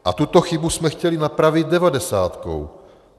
A tuto chybu jsme chtěli napravit devadesátkou.